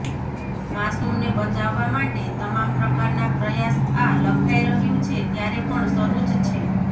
માસૂમને બચાવવા માટે તમામ પ્રકારના પ્રયાસ આ લખાઈ રહ્યું છે ત્યારે પણ શરૂ જ છે